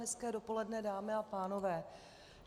Hezké dopoledne, dámy a pánové.